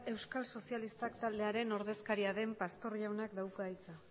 euskal sozialistak taldearen ordezkaria den pastor jaunak dauka hitza